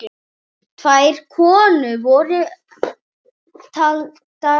Tvær konur voru taldar upp.